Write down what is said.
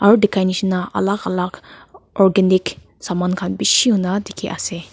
aru dikhai nisna alag alag organic saman khan bishi huna dikhi ase.